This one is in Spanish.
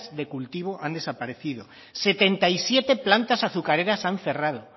de cultivo han desaparecido setenta y siete plantas azucareras han cerrado